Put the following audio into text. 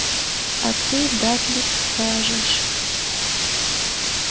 а ты дадлик скажешь